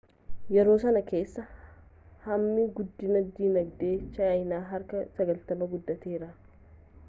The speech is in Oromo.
yeroo sanaa kaasee hammi guddinii dinagdee chaayinaa harka 90n guddateera